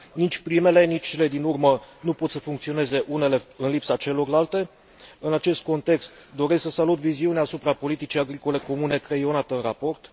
Nici primele, nici cele din urmă nu pot să funcționeze unele în lipsa celorlalte. În acest context, doresc să salut viziunea asupra politicii agricole comune creionată în raport.